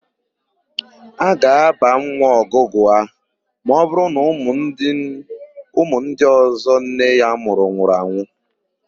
A ga-ábà nwa Ọgụgụa ma ọbụrụ na ụmụ ndị ọ̀zọ́ nne ya mụrụ nwụrụ anwụ.